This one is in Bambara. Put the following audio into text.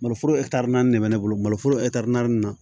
Maloforo naani de bɛ ne bolo mali foro naani na